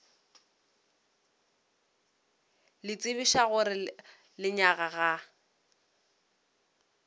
le tsebiša gore lenyaga ga